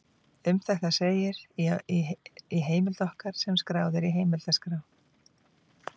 Um þetta segir í heimild okkar sem skráð er í heimildaskrá: